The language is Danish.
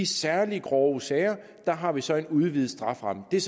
særlig grove sager har vi så en udvidet strafferamme er